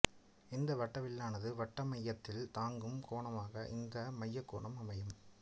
இந்த வட்டவில்லானது வட்டமையத்தில் தாங்கும் கோணமாக இந்த மையக்கோணம் அமையும்